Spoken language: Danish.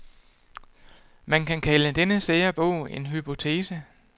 Man kan kalde denne sære bog en hypotese.